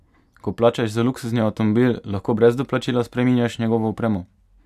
Ko plačaš za luksuzni avtomobil, lahko brez doplačila spreminjaš njegovo opremo?